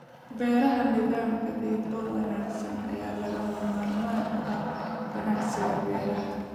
Beeraha Nidaam gaadiid oo wanaagsan ayaa lagama maarmaan u ah ganacsiga beeraha.